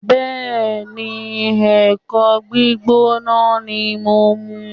Bẹ́ẹ̀ni, ẹ̀kọ gbígbóná ni mo ń mu